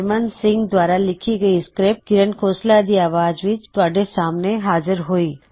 ਹਰਮਨ ਸਿੰਘ ਦੁਆਰਾ ਲਿੱਖੀ ਇਹ ਸਕ੍ਰਿਪਟ ਦੀ ਆਵਾਜ਼ ਵਿਚ ਤੁਹਾਡੇ ਸਾਹਮਣੇ ਹਾਜ਼ਿਰ ਹੋਈ